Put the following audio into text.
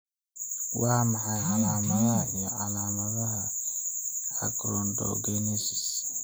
Waa maxay calaamadaha iyo calaamadaha Achondrogenesis?